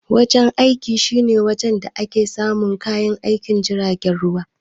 Wajen aiki shine wajen da ake samun kayan aikin jiragen ruwa.